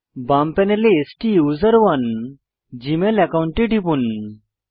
বাম প্যানেলে স্টুসেরনে জীমেল একাউন্টে টিপুন